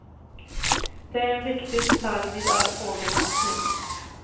Det är en viktig detalj vid all fågelmatning.